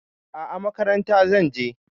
A'a, makaranta zan je.